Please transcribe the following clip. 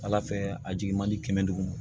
Ala fɛ a jigi man di kɛmɛ duguma